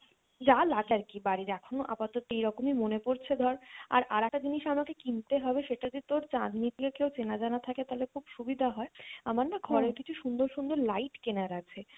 যা লাগে আরকি বাড়ির এখন আপাতত এইরকমই মনে পড়ছে ধর আর আরেকটা জিনিস আমাকে কিনতে হবে সেটা হচ্ছে তোর চাঁদনী তে কেউ চেনা জানা থাকে তাহলে খুব সুবিধা হয় আমার না ঘোরে কিছু সুন্দর সুন্দর light কেনার আছে,